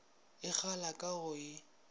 e kgala ka go e